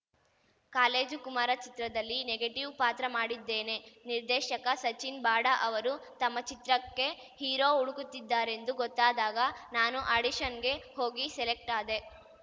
college Kumara ಚಿತ್ರದಲ್ಲಿ negative ಪಾತ್ರ ಮಾಡಿದ್ದೇನೆ ನಿರ್ದೇಶಕ ಸಚಿನ್‌ ಬಾಡಾ ಅವರು ತಮ್ಮ ಚಿತ್ರಕ್ಕೆ ಹೀರೋ ಹುಡುಕುತ್ತಿದ್ದಾರೆಂದು ಗೊತ್ತಾದಾಗ ನಾನು ಆಡಿಷನ್‌ಗೆ ಹೋಗಿ ಸೆಲೆಕ್ಟ್ ಆದೆ